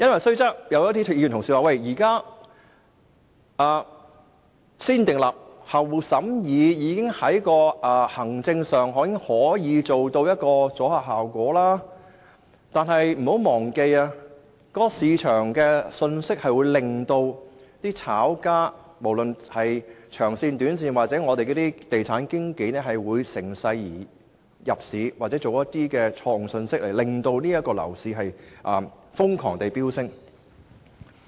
雖然有議員表示現時"先訂立後審議"的程序已在行政上收到阻嚇效果，但請不要忘記，市場信息會令長線或短線的炒家甚或地產經紀趁勢入市，又或是發出一些錯誤的信息令樓價瘋狂飆升。